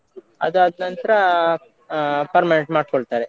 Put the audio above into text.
ಅದಾದ್ನಂತ್ರ ಆ permanent ಮಾಡ್ಕೊಳ್ತಾರೆ.